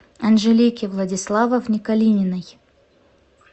анжелике владиславовне калининой